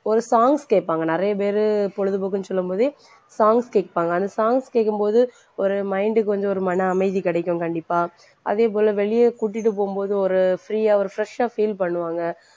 ஒரு songs கேப்பாங்க. நிறைய பேரு பொழுதுபோக்குன்னு சொல்லும் போதே songs கேட்பாங்க. அந்த songs கேட்கும்போது ஒரு mind க்கு வந்து ஒரு மன அமைதி கிடைக்கும் கண்டிப்பா அதேபோல வெளிய கூட்டிட்டு போகும்போது ஒரு free யா ஒரு fresh ஆ feel பண்ணுவாங்க.